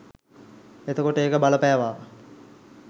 එතකොට ඒක බලපෑවා